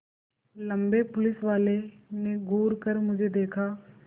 लम्बे पुलिसवाले ने घूर कर मुझे देखा